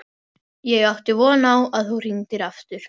Ég átti von á að þú hringdir aftur.